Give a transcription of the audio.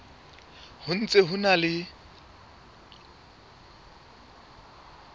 ho ntse ho na le